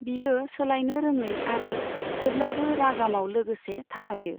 बियो सोलायनो रोङै आरो जेब्लाबो रागामाव लोगोसे थाफायो।